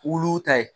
Wuluw ta ye